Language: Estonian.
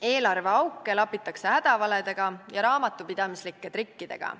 Eelarveauke lapitakse hädavaledega ja raamatupidamislike trikkidega.